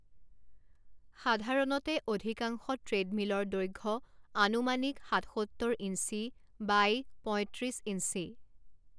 সাধাৰণতে অধিকাংশ ট্ৰেডমিলৰ দৈৰ্ঘ্য আনুমানিক সাতসত্তৰ ইঞ্চী বাই পঁইত্ৰিছ ইঞ্চী।